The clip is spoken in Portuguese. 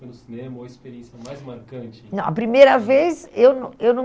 foi no cinema ou a experiência mais marcante? Não, a primeira vez, eu não, eu não